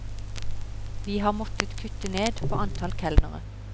Vi har måttet kutte ned på antall kelnere.